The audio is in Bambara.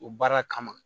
O baara kama